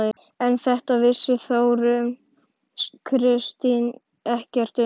En þetta vissi Þórunn Kristín ekkert um.